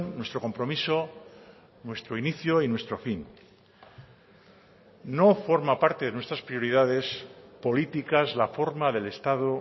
nuestro compromiso nuestro inicio y nuestro fin no forma parte de nuestras prioridades políticas la forma del estado